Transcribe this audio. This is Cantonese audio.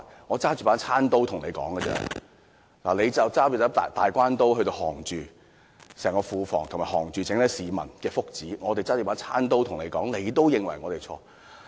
我只是拿着餐刀跟他對抗，而他卻是拿着"大關刀"，以整個庫房和整體市民的福祉作要脅，那只是我們唯一的方法，為何他們仍然認為我們有錯呢？